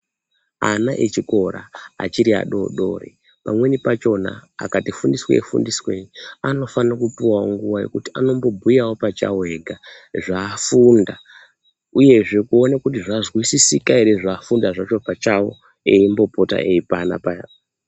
Ana echikora achiti adodori pamweni pachona akati fundi swei fundiswei anofanirwa kupiwawo nguva yekuti anombobhuyawo pachawo ega zvafumda ,uyezve kuone kuti zvazwisisika ere zvafumda zvacho pachawo embopota eipana paya.